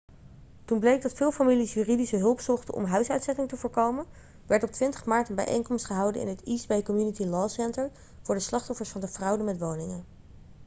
toen bleek dat veel families juridische hulp zochten om huisuitzettingen te voorkomen werd op 20 maart een bijeenkomst gehouden in het east bay community law center voor de slachtoffers van de fraude met woningen